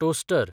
toaster